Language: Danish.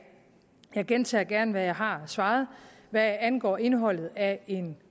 jeg gentager gerne hvad jeg har svaret hvad angår indholdet af en